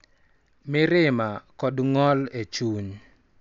Mirima, kod ng�ol e chuny,